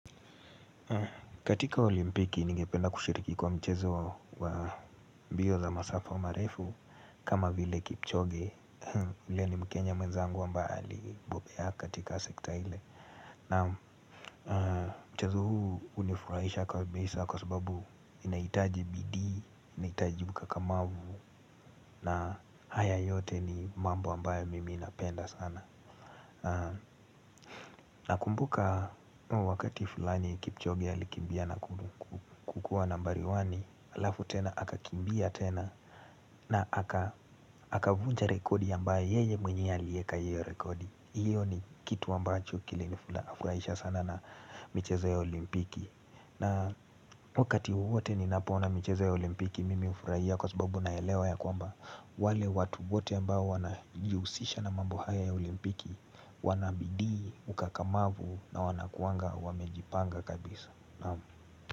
Katika olimpiki ningependa kushiriki kwa mchezo wa mbio za masafa marefu kama vile kipchoge ule ni mkenya mwenzangu ambaye alibobea katika sekta ile mchezo huu hunifurahisha kwa sababu sababu inahitaji bidii, inahitaji ukakamavu na haya yote ni mambo ambayo mimi napenda sana Nakumbuka wakati fulani kipchoge alikimbia na kukuwa nambari wani alafu tena akakimbia tena na akavunja rekodi ambayo yeye mwenyewe alieka hio rekodi hiyo ni kitu ambacho kilinifurahisha sana na mchezo ya olimpiki na wakati wotewote ninapoona michezo ya olimpiki Mimi ufurahia kwa sababu naelewa ya kwamba wale watu wote ambao wanajihusisha na mambo haya ya olimpiki wana bidii ukakamavu na wanakuanga wamejipanga kabisa.